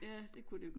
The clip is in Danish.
Ja det kunne det